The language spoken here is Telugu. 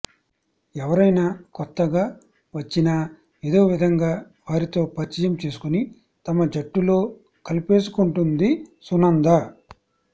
ఎవరైనా కొత్తగా వచ్చినా ఏదో విధంగా వారితో పరిచయం చేసుకుని తమ జట్టులో కలిపేసుకుంటుంది సునంద